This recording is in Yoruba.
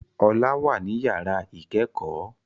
Ọlá wà ní yàrá ìkẹ́kọ̀ọ́